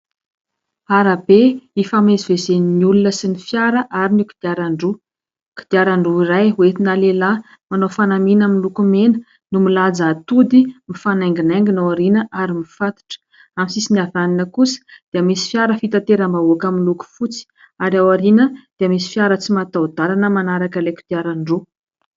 Arabe ifamezivezen'ny olona sy ny fiara ary ny kodiaran-droa. Kodiaran-droa iray hoentina lehilahy manao fanamiana miloko mena no milanja atody mifanainginaingina ao aoriana ary mifatotra. Amin'ny sisiny havanana kosa dia misy fiara fitateram-bahoaka miloko fotsy ary ao aoriana dia misy fiara tsy mataho-dalana manaraka ilay kodiaran-droa.